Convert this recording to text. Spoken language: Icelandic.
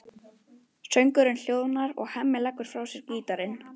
Söngurinn hljóðnar og Hemmi leggur frá sér gítarinn.